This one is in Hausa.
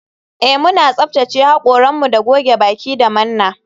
Eh muna tsaftace hakoranmu da goge baki da manna